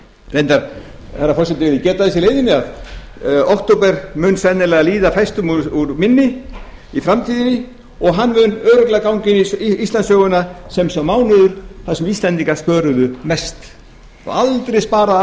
reyndar herra forseti vil ég geta þess í leiðinni að október mun sennilega líða fæstum úr minni í framtíðinni og hann mun örugglega ganga inn í íslandssöguna sem sá mánuður sem íslendingar spöruðu mest og hafa aldrei sparað